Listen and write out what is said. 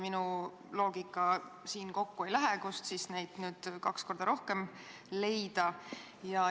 Minu loogikaga see kokku ei lähe – kust siis nüüd neid inimesi kaks korda rohkem leitakse?